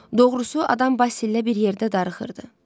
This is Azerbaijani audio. Doğrusu, adam Basil ilə bir yerdə darıxırdı.